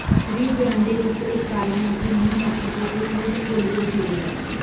ਰਿਓ Grande rift ਇਕ ਕਾਰਨ ਹੈ ਕਿ ਨਿਊ ਮੈਕਸੀਕੋ ਇਸ ਲਈ ਭੂਗੋਲਿਕ ਵਿਸ਼ੇਸ਼ ਹੈ